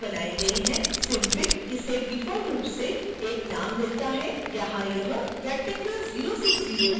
synfig इसे default रूप से एक नाम देता है यहां यह rectangle060region है